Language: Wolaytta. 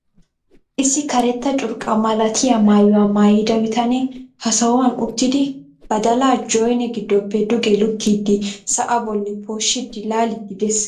isi karetta curqqa malattiya maayuwa maayida bitanee ha sohuwan uttidi badalaa joynne giddoppe duge lukkidi sa'aa boli poosjsjidi laaliidi des.